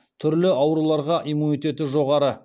түрлі ауруларға иммунитеті жоғары